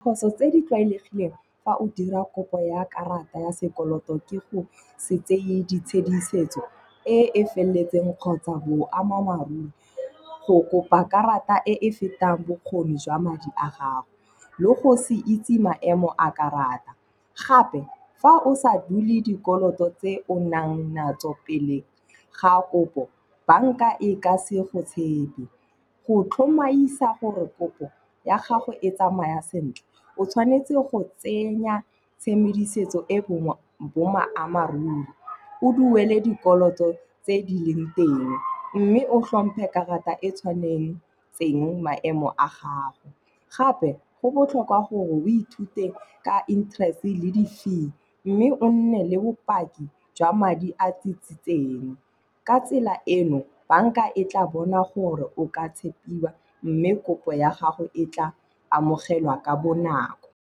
Phoso tse di tlwaelegileng fa o dira kopo ya karata ya sekoloto ke go se tseye ditshedisetso e e feleletseng kgotsa boammaaruri. Go kopa karata e e fetang bokgoni jwa madi a gago. Le go se itse maemo a karata. Gape fa o sa duele dikoloto tse o nang natso pele ga kopo, banka e ka se go tshepe. Go tlhomaisa gore kopo ya gago e tsamaya sentle, o tshwanetse go tsenya tshedimosetso e boammaaruri. O duele dikoloto tse di leng teng mme o tlhompe karata e tshwanetseng maemo a gago. Gape go botlhokwa gore o ithute ka interest le di-fee. Mme o nne le bopaki jwa madi a tsitsitseng. Ka tsela eno, banka e tla bona gore o ka tshepiwa mme kopo ya gago e tla amogelwa ka bonako.